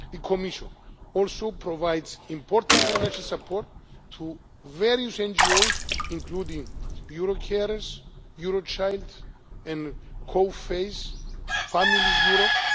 The Commission also provides important financial support to various NGOs, including Eurocarers, Eurochild and COFACE Families